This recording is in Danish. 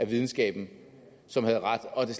videnskaben som havde ret og at det